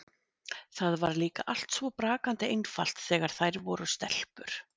Það var líka allt svo brakandi einfalt þegar þær voru stelpur.